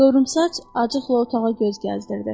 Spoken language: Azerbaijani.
Qıvrımsaç acıqla otağa göz gəzdirirdi.